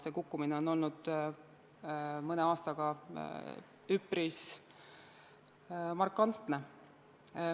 See kukkumine on olnud mõne aastaga üpris markantne.